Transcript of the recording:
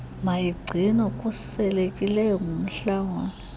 mayigcinwe khuselekileyo ngumlawuli